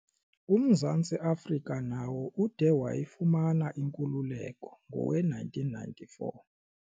UMzantsi Afrika nawo ude wayifumana inkululeko ngowe-1994.